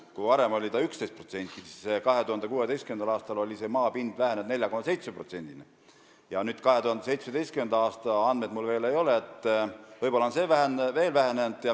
Kui varem oli sellist maapinda 11%, siis 2016. aastal oli see vähenenud 4,7%-ni ja nüüd – 2017. aasta andmeid mul veel ei ole – võib see protsent olla veelgi väiksem.